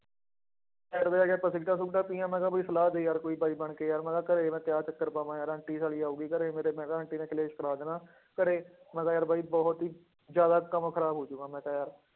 Side ਤੇ ਜਾ ਕੇ ਆਪਾਂ ਸਿਗਰਟਾਂ ਸੂਗਰਟਾਂ ਪੀਈਆਂ ਮੈਂ ਕਿਹਾ ਕੋਈ ਸਲਾਹ ਦੇ ਯਾਰ ਕੋਈ ਬਾਈ ਬਣਕੇ ਯਾਰ ਮੈਂ ਕਿਹਾ ਘਰੇ ਮੈਂ ਤੇ ਆਹ ਚੱਕਰ ਪਾਵਾਂ ਯਾਰ ਆਂਟੀ ਸਾਲੀ ਆਊਗੀ ਘਰੇ ਮੇਰੇ ਮੈਂ ਕਿਹਾ ਆਂਟੀ ਨੇ ਕਲੇਸ਼ ਕਰਾ ਦੇਣਾ ਘਰੇ, ਮੈਂ ਕਿਹਾ ਯਾਰ ਬਾਈ ਬਹੁਤ ਹੀ ਜ਼ਿਆਦਾ ਕੰਮ ਖ਼ਰਾਬ ਹੋ ਜਾਊਗਾ ਮੈਂ ਤਾਂ ਯਾਰ